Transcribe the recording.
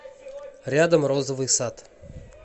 рядом розовый сад